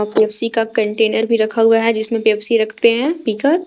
Pepsi का container भी रखा हुआ है जिसमें पेप्सी रखते हैं पी कर।